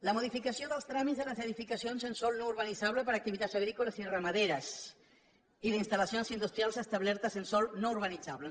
la modificació dels tràmits de les edificacions en sòl no urbanitzable per a activitats agrícoles i ramaderes i d’instal·lacions industrials establertes en sòl no urbanitzable